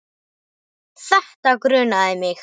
Þetta grunaði mig.